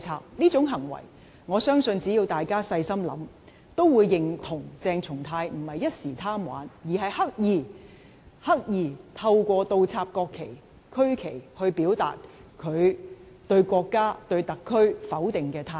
對於這種行為，我相信只要大家細想，也會認同鄭松泰並非一時貪玩，而是刻意——是刻意——透過倒插國旗及區旗，表達他對國家及特區否定的態度。